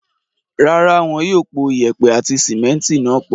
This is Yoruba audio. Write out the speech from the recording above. Rárá, wọ́n yóò pò yèèpẹ̀ àti símẹ́ńtì náà pọ̀.